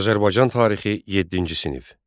Azərbaycan tarixi yeddinci sinif.